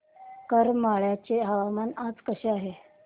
करमाळ्याचे हवामान आज कसे आहे